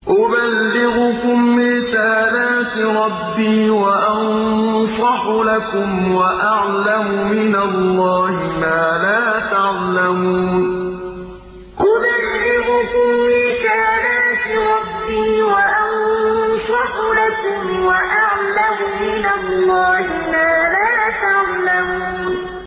أُبَلِّغُكُمْ رِسَالَاتِ رَبِّي وَأَنصَحُ لَكُمْ وَأَعْلَمُ مِنَ اللَّهِ مَا لَا تَعْلَمُونَ أُبَلِّغُكُمْ رِسَالَاتِ رَبِّي وَأَنصَحُ لَكُمْ وَأَعْلَمُ مِنَ اللَّهِ مَا لَا تَعْلَمُونَ